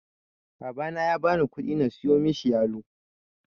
Babana ya bani ƙudi na siyo mishi yalo.